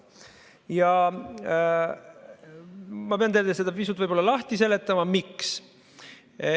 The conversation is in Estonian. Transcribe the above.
Ja ma pean teile seda pisut lahti seletama, miks.